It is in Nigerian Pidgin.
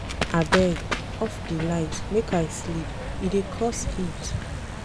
Abeg, off di light make I sleep. E dey cause heat.